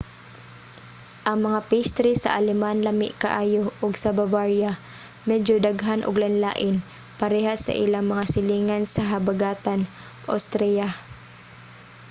ang mga pastry sa aleman lami kaayo ug sa bavaria medyo daghan ug lain-lain parehas sa ilang mga silingan sa habagatan austria